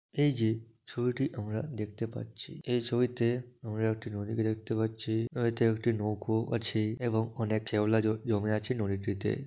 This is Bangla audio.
এই যে ছবিটি আমরা দেখতে পাচ্ছি | এই ছবিতে আমরা একটি নদী কে দেখতে পাচ্ছি পানিতে একটি নৌকো আছে এবং অনেক শ্যাওলা জ জমে আছে নদীটিতে ।